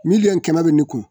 Miliyɔn kɛmɛ bɛ ne kun